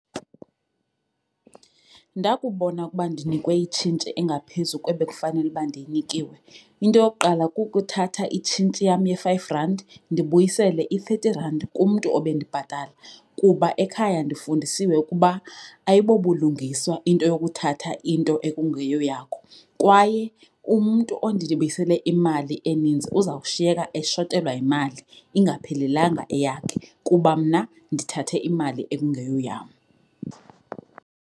Ndakubona ukuba ndinikwe itshintshi engaphezu kwebekufanele ukuba ndiyinikiwe, into yokuqala kukuthatha itshintshi yam ye-five rand ndibuyisele i-thirty rand kumntu obendibhatala kuba ekhaya ndifundisiwe ukuba ayibobulungiswa into yokuthatha into ekungeyo yakho. Kwaye umntu ondibuyisele imali eninzi uzawushiyeka eshotelwa yimali, ingaphelelanga eyakhe kuba mna ndithathe imali ekungeyo yam.